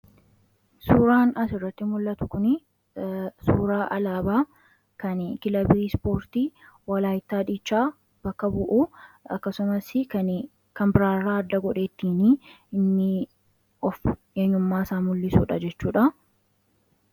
suuraan asirratti mul'atu kun suuraa alaabaa kan kilabii ispoortii walaayittaa diichaa bakka bu'u. Akkasumas kan biraarraa adda godheettiin inni of eenyummaa isaa mul'isudha jechuudha.